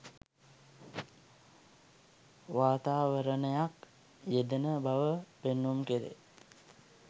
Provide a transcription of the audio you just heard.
වාතාවරණයක් යෙදෙන බව පෙන්නුම් කෙරේ.